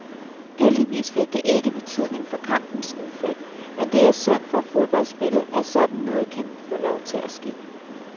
Heldigvis fik det ikke betydning for kampens udfald, men det er synd for fodboldspillet, at sådan noget kan få lov til at ske.